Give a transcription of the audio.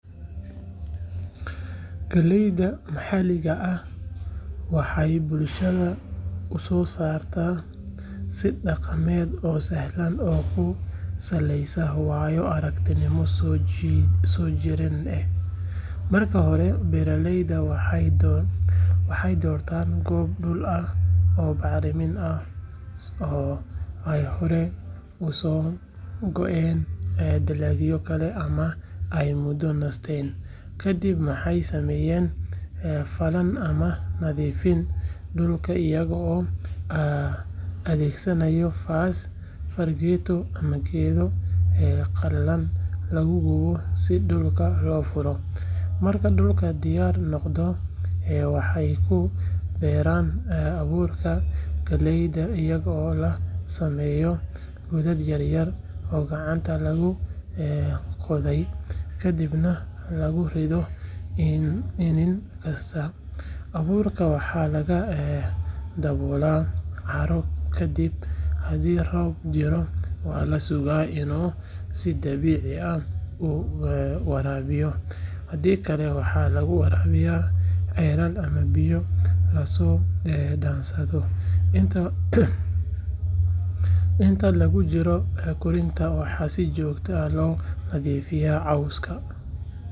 Galayda maxalliga ah waxay bulshada u soo saartaa si dhaqameed oo sahlan oo ku saleysan waayo aragnimo soo jireen ah. Marka hore beeraleyda waxay doortaan goobo dhul ah oo bacrin ah oo ay hore uga soo go’een dalagyo kale ama ay muddo nasatay. Kadib waxay sameeyaan falan ama nadiifin dhulka iyagoo adeegsanaya faas, fargeeto ama geedo qallalan lagu gubo si dhulka loo furo. Marka dhulku diyaar noqdo, waxay ku beeraan abuurka galeyda iyadoo la sameeyo godad yaryar oo gacanta lagu qodayo kadibna lagu rido iniin kasta. Abuurka waxaa lagu daboolaa carro kadibna haddii roob jiro waa la sugaa inuu si dabiici ah u waraabiyo, haddii kale waxaa lagu waraabiyaa ceelal ama biyo la soo dhaansado. Inta lagu jiro koritaanka waxaa si joogto ah looga nadiifiyaa cawska.